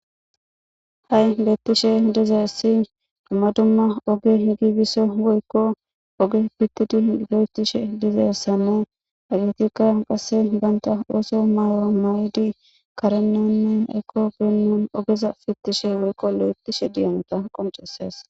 Hai bettishe dizayssi dumma dumma ogge gigisiishe woykko ogge fittidi gessishe diizayssane haggetika qasse bantta osso mayo mayidi karenine eqqogay oggeza fittishe woykko lo'ethishe diyaka qonccises.